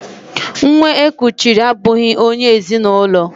Nwa e kuchiri abụghị onye ezi na ụlọ